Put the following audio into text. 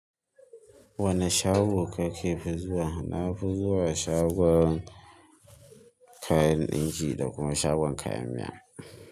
Wane shago kake zuwa? Na fi zuwa shagon kayan ɗinki da kuma shagon kayan miya.